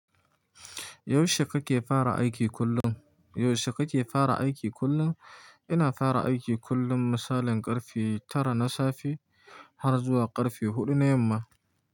Yaushe kake fara aiki kullum? Yaushe kake fara aiki kullum? Ina fara aiki kullum misalin karfe tara na safe har zuwa karfe huɗu na yamma.